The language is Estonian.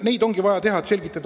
Palun lisaaega!